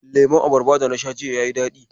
Lemon abarbar dana sha jiya yayi daɗi.